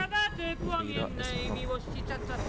Frida Espeland